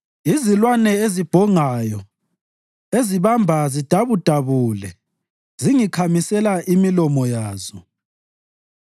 Izilwane ezibhongayo ezibamba zidabudabule zingikhamisela imilomo yazo.